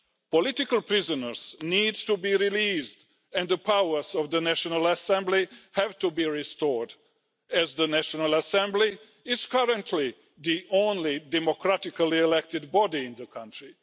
Political prisoners need to be released and the powers of the National Assembly have to be restored as the National Assembly is currently the only democratically elected body in the country.